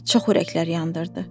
Bəli, çox ürəklər yandırdı.